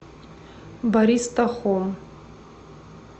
бариста хом